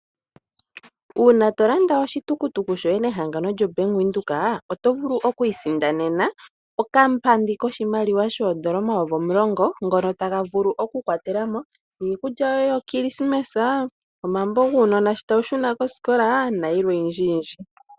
Uuna to landa oshitukutuku shoye nehangano lyombaanga lyavenduka, oto vulu okwiisindanena okapandi koshimaliwa shoondola omayovi omulongo, ngono taga vulu okukwatela mo iikulya yoye yokilisimesa, omambo guunona shi tawu shuna koskola nosho tu.